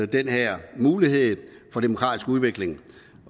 den her mulighed for demokratisk udvikling